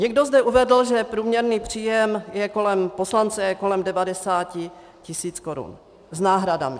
Někdo zde uvedl, že průměrný příjem poslance je kolem 90 tisíc korun s náhradami.